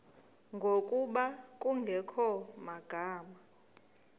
ngokuba kungekho magama